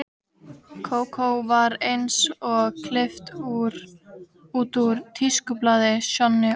Kókó var eins og klippt út úr tískublaði, Sjonni og